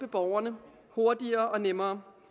borgerne hurtigere og nemmere